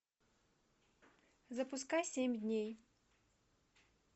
запускай семь дней